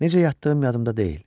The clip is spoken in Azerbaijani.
Necə yatdığım yadımda deyil.